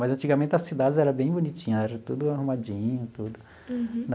Mas antigamente as cidades era bem bonitinhas, eram tudo arrumadinho, tudo. Uhum.